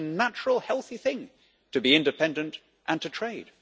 It is a natural healthy thing to be independent and to trade.